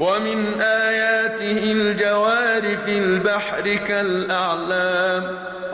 وَمِنْ آيَاتِهِ الْجَوَارِ فِي الْبَحْرِ كَالْأَعْلَامِ